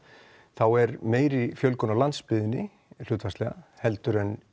þá er meiri fjölgun á landsbyggðinni hlutfallslega heldur en